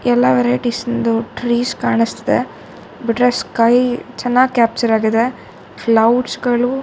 ಎಲ್ಲಾ ವರೈಟಿಸ್ ನದು ಟ್ರಿಸ್ ಕಾಣಸ್ತಿದೆ ಬಿಟ್ಟ್ರೆ ಸ್ಕೈ ಚನ್ನಾಗಿ ಕ್ಯಾಪ್ಚರ್ ಆಗಿದೆ ಕ್ಲೌಡ್ಸ್ ಗಳು .--